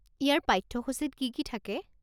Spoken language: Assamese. ইয়াৰ পাঠ্যসূচীত কি কি থাকে?